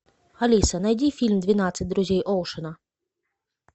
алиса найди фильм двенадцать друзей оушена